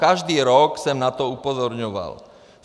Každý rok jsem na to upozorňoval.